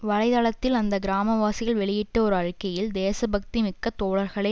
வலை தளத்தில் அந்த கிராமவாசிகள் வெளியிட்ட ஒரு அறிக்கையில் தேசபக்தி மிக்க தோழர்களே